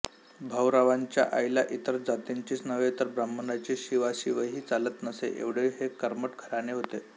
भाऊरावांच्या आईला इतर जातीचीच नव्हे तर ब्राह्मणाची शिवाशिवही चालत नसे एवढे हे कर्मठ घराणे होते